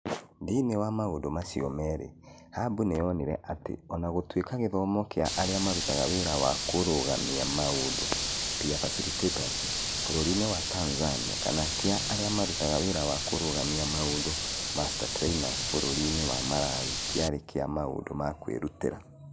Thĩinĩ wa maũndũ macio merĩ, hub nĩ yonire atĩ o na gũtuĩka gĩthomo kĩa arĩa marutaga wĩra wa kũrũgamia maũndũ (Peer Facilitators) bũrũri-inĩ wa Tanzania kana kĩa arĩa marutaga wĩra wa kũrũgamia maũndũ (Master Trainers) bũrũri-inĩ wa Malawi kĩarĩ kĩa maũndũ ma kwĩrutĩra.